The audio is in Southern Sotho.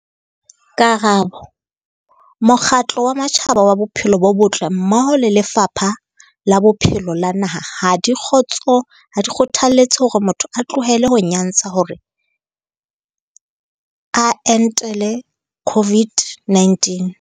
Karabo- Mokgatlo wa Matjhaba wa Bophelo bo Botle mmoho le Lefapha la Bophelo la naha ha di kgotso ha di kgothaletse hore motho a tlohele ho nyantsha hore a entele COVID-19.